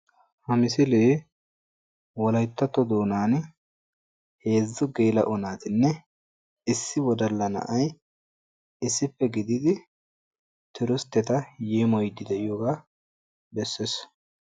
Ha misilee wolayttatto doonan heezzu geela'o naatinne issi wodalla na'ay issippe gididi turustetta yeemoyidi de'iyoogaa bessees.